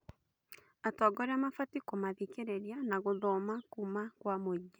Atongoria mabatiĩ kũmathikĩrĩria na gũthoma kuuma kwa mũingĩ.